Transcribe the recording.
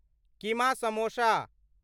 keema samosa